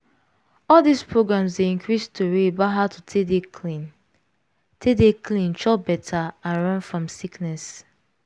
all dis programs dey increase tori about how to take dey clean take dey clean chop better and run fom sickness.